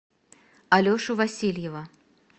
алешу васильева